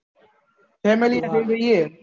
family ને લઇ જયીયે